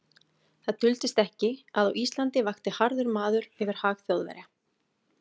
Það duldist ekki, að á Íslandi vakti harður maður yfir hag Þjóðverja.